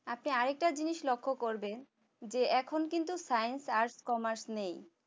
আপনি আরেকটা জিনিস লক্ষ্য করেন যে এখন কিন্তু science আর commerce নেই